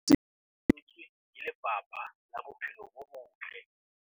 Lesedi lena le fepetswe ke Lefapha la Bophelo bo Botle.